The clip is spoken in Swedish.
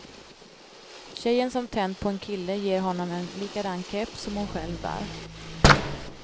Tjejen som tänt på en kille ger honom en likadan keps som hon själv bär.